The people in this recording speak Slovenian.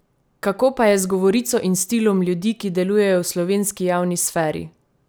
Kako pa je z govorico in stilom ljudi, ki delujejo v slovenski javni sferi?